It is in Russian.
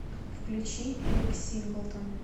включи эрик синглтон